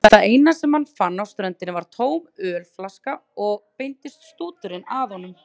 Það eina sem hann fann á ströndinni var tóm ölflaska og beindist stúturinn að honum.